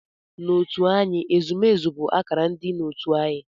N'otu anyị, ezumezu bụ akara ịdị n'otu anyị.